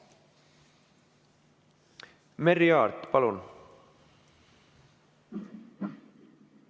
Merry Aart, palun!